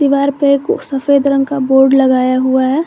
दीवार पे एको सफेद रंग का बोर्ड लगाया हुआ है।